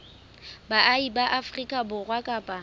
baahi ba afrika borwa kapa